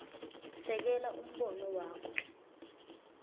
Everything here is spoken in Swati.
sekela umbono wakho